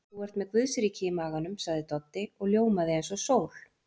Þú ert með Guðsríki í maganum, sagði Doddi og ljómaði eins og sól.